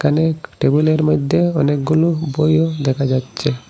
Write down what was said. অনেক টেবিলের মদ্যে অনেকগুলো বইও দেখা যাচচে।